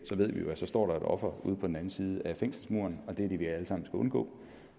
ved vi jo at der står et offer ude på den anden side af fængselsmurene og det er det vi alle sammen skal undgå